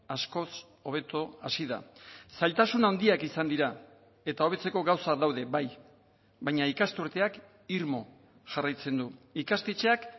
askoz hobeto hasi da zailtasun handiak izan dira eta hobetzeko gauzak daude bai baina ikasturteak irmo jarraitzen du ikastetxeak